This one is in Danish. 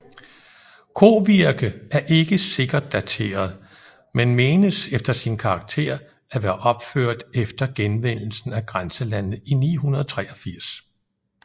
Kovirke er ikke sikkert dateret men menes efter sin karakter at være opført efter genvindelsen af grænselandet i 983